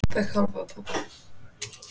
Hver er staðan?